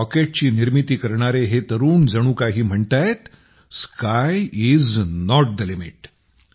रॉकेटची निर्मिती करणारे हे तरुण जणू काही म्हणतायत sky is not the limit